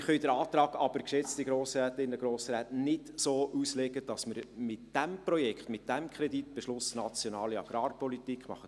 Wir können den Antrag, geschätzte Grossrätinnen und Grossräte, nicht so auslegen, dass wir mit diesem Projekt, mit diesem Kreditbeschluss nationale Agrarpolitik machen.